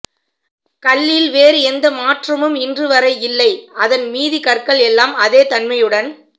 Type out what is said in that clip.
கல்லில் வேறு எந்த மாற்றமும் இன்றுவரை இல்லை அதன் மீதி கற்கள் எல்லாம் அதே தண்மையுடன்